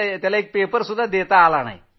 तर त्याने पेपर दिला नाही